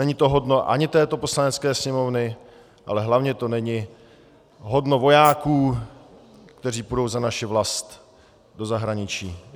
Není to hodno ani této Poslanecké sněmovny, ale hlavně to není hodno vojáků, kteří půjdou za naši vlast do zahraničí.